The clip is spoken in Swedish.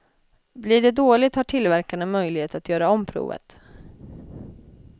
Blir det dåligt har tillverkarna möjlighet att göra om provet.